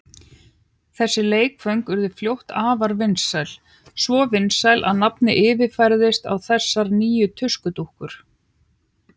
Þessi leikföng urðu fljótt afar vinsæl, svo vinsæl að nafnið yfirfærðist á þessar nýju tuskudúkkur.